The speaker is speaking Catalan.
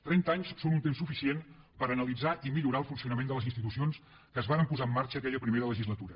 trenta anys són un temps suficient per analitzar i millorar el funcionament de les institucions que es varen posar en marxa aquella primera legislatura